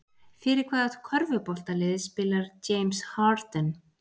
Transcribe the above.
Fyrir hvaða körfuboltalið spilar James Harden?